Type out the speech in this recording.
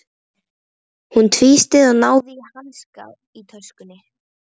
Hún tvísteig, náði í hanska í töskunni.